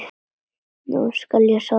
Nú skal ég sofa gott.